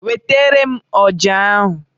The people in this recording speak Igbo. Wetara m ọjà ahụ!